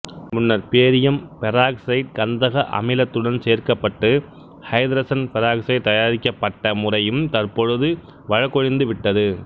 முன்னர் barium peroxide கந்தக அமிலத்துடன் சேர்க்கப்பட்டு ஐதரசன் பெராக்சைடு தயாரிக்கப்பட்ட முறையும் தற்பொழுது வழக்கொழிந்து விட்டது